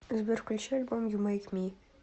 сбер включи альбом ю мэйк ми